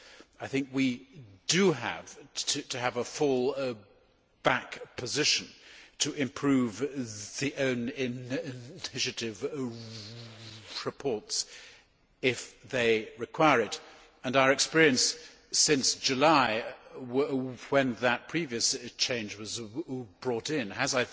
I think we need to have a fall back position to improve the own initiative reports if they require it, and our experience since July, when that previous change was brought in, has